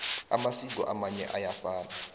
amasiko amanye ayafana